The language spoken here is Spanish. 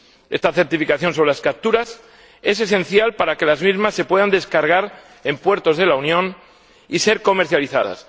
Esta certificación sobre las capturas es esencial para que las mismas se puedan descargar en puertos de la Unión y ser comercializadas.